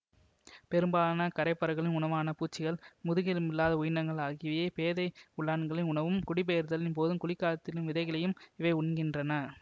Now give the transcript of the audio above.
பெரும்பாலான கரைப்பறவைகளின் உணவான பூச்சிகள் முதுகெலும்பில்லாத உயிரினங்கள் ஆகியவையே பேதை உள்ளான்களின் உணவும் குடிபெயர்தலின் போதும் குளிர்காலத்திலும் விதைகளையும் இவை உண்கின்றன